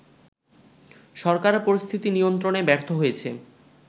সরকার পরিস্থিতি নিয়ন্ত্রণে ব্যর্থ হয়েছে